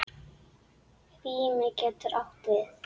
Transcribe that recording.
Rými getur átt við